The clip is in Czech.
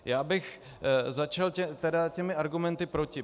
Já bych začal tedy těmi argumenty proti.